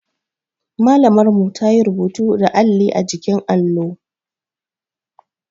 Malamar mu ta yi rubutu da alli a jikin allo